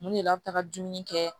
Mun de la a bi taga dumuni kɛ